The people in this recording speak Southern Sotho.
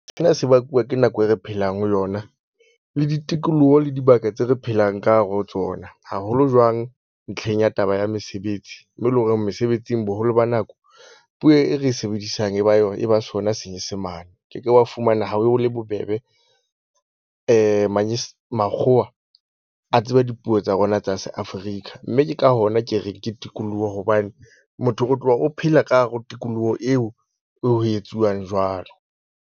Sena se bakuwa ke nako e re phelang ho yona. Le ditikoloho le dibaka tse re phelang ka hare ho tsona, haholo jwang ntlheng ya taba ya mesebetsi. Mo e leng horeng mesebetsing, boholo ba nako puo e re e sebedisang e ba e ba sona senyesemane. Ke ke wa fumana ha ho le bobebe makgowa a tseba dipuo tsa rona tsa se-Africa. Mme ke ka hona ke reng ke tikoloho hobane motho o tloha o phela ka hare ho tikoloho eo ho etsuwang jwalo.